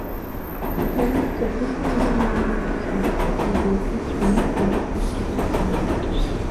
dem ask for fifty million naira ransom bifor dem go fit release di medical students and doctors